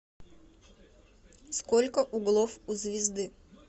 сколько углов у звезды